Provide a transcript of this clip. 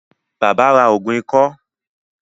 Bàbá ra ògùn ikọ́